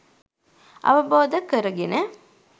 අවබෝධ කර ගෙන